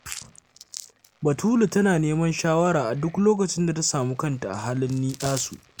Batulu tana neman shawara a duk lokacin da ta samu kanta a halin ni-'yasu